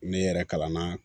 Ne yɛrɛ kalan na